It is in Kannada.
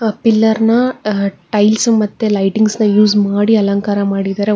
ಪಿಲ್ಲರ್ನ ಅ ಟೈಲ್ಸ್ ಮತ್ತೆ ಲೈಟಿಂಗ್ಸ್ ನ ಯೂಸ್ ಮಾಡಿ ಅಲಂಕಾರ ಮಾಡಿದ್ದಾರೆ.